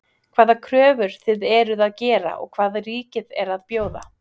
Hvaða kröfur þið eruð að gera og hvað ríkið er að bjóða?